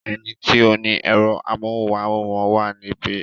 Ẹni tí ó ni ẹ̀rọ amóhùmáwòhán wà níbí.